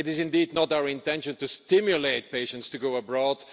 It is indeed not our intention to stimulate patients to go abroad.